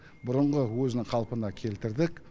бұрынғы өзінің қалпына келтірдік